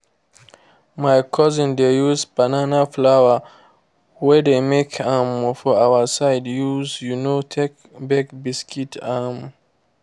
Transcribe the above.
my cousin dey use banana flour wey de make um for our side use um take bake biscuit. um